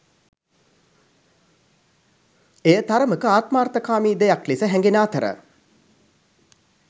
එය තරමක ආත්මාර්ථකාමී දෙයක් ලෙස හැඟෙන අතර